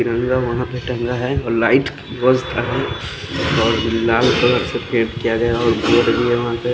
तिरंगा वहा पे टंका है और लाइट वोस और लाल कलर से किया गया और--